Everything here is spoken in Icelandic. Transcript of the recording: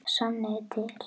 Sanniði til